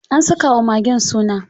An saka wa magen suna.